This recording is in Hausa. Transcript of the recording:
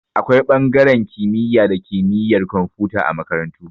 Akwai ɓangaren kimiyya da kimiyar komfuta a makarantu